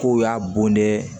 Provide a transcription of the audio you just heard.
K'o y'a bon de